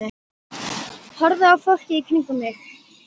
Horfði á fólkið í kringum mig.